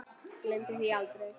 Gleymir því aldrei.